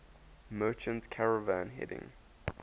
merchant caravan heading